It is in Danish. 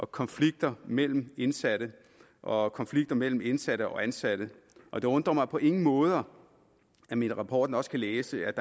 konflikter mellem de indsatte og konflikter mellem de indsatte og de ansatte og det undrer mig på ingen måde at man i rapporten også kan læse at